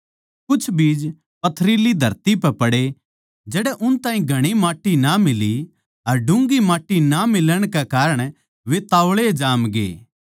कुछ बीज पथरीली धरती पै पड़े जड़ै उनताही घणी माट्टी ना मिली अर डून्घी माट्टी ना मिलण कै कारण वे तोळाए जामग्या